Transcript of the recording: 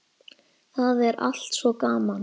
Það er allt svo gaman.